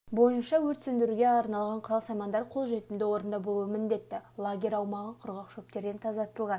бойынша өрт сөндіруге арналған құрал-саймандар қол жетімді орында болуы міндетті лагерь аумағы құрғақ шөптерден тазартылған